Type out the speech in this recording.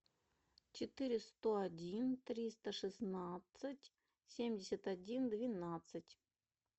четыре сто один триста шестнадцать семьдесят один двенадцать